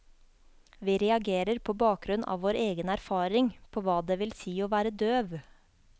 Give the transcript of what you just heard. Vi reagerer på bakgrunn av vår egen erfaring på hva det vil si å være døv.